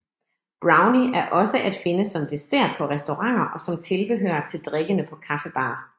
Brownie er også at finde som dessert på restauranter og som tilbehør til drikkene på kaffebarer